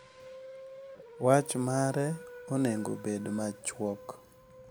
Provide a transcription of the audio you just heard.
Wach mare onego obed machuok,